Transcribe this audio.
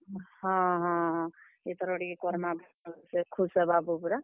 ହଁ ହଁ ହଁ, ଇଥର ଟିକେ କର୍ ମା ଭଲ୍ ସେ ଖୁସ୍ ହେବା ବୁପ୍ ରା।